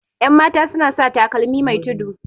yanmata suna sa takalmi Mai tudu